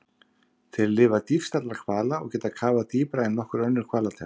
Þeir lifa dýpst allra hvala og geta kafað dýpra en nokkur önnur hvalategund.